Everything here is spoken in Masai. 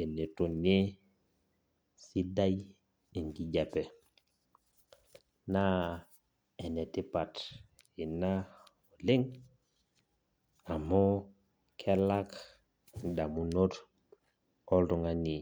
enetonie sidai enkisoma naa enetipat ina oleng amu kelak indamunot oltungani.